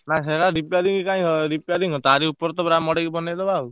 ନାଇଁ ସେଗୁରା repairing କାଇଁ ହବ repairing ଙ୍କ ତାରି ଉପରେ ତ ପୁରା ମଦେଇକି ବନେଇ ଦବା ଆଉ।